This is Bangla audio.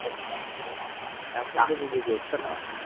এখন তো কিছু করছে না